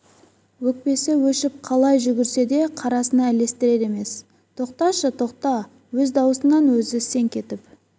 өкпесі өшіп қалай жүгірсе де қарасына ілестірер емес тоқташы тоқта өз даусынан өзі селк етіп